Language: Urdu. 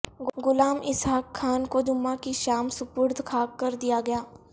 غلام اسحاق خان کو جمعہ کی شام سپردخاک کردیا گیا